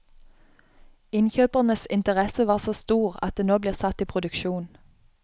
Innkjøpernes interesse var så stor at det nå blir satt i produksjon.